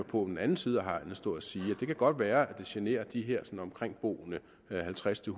på den anden side af hegnet stå og sige det kan godt være det generer de omkringboende halvtreds til